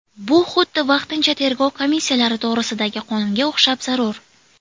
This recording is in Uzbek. Bu xuddi vaqtincha tergov komissiyalari to‘g‘risidagi qonunga o‘xshab zarur.